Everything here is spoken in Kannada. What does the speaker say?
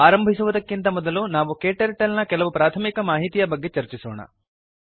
ಆರಂಭಿಸುವುದಕ್ಕಿಂತ ಮೊದಲು ನಾವು ಕ್ಟರ್ಟಲ್ ನ ಕೆಲವು ಪ್ರಾಥಮಿಕ ಮಾಹಿತಿಯ ಬಗ್ಗೆ ಚರ್ಚಿಸೋಣ